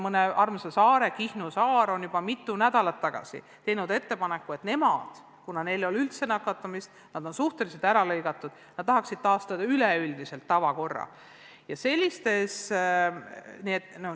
Mõni armas saar, näiteks Kihnu, tegi juba mitu nädalat tagasi ettepaneku, et kuna neil ei ole üldse nakatumist ja nad on suhteliselt ära lõigatud, siis tahaksid nad üleüldise tavakorra taastada.